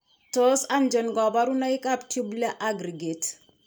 Tos achon kabarunaik ab Tubular aggregate ?